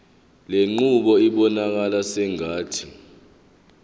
lenqubo ibonakala sengathi